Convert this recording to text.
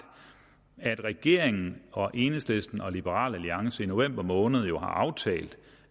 at at regeringen enhedslisten og liberal alliance i november måned har aftalt